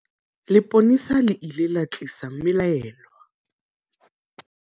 Lepolesa le ile la tlisa mmelaelwa.